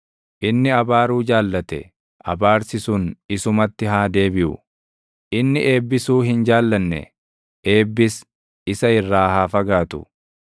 Inni abaaruu jaallate; abaarsi sun isumatti haa deebiʼu; inni eebbisuu hin jaallanne; eebbis isa irraa haa fagaatu.